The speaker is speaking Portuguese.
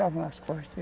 nas costas.